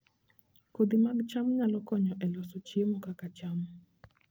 Kodhi mag cham nyalo konyo e loso chiemo kaka cham